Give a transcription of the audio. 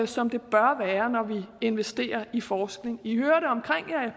som det bør være når vi investerer i forskning i hører det omkring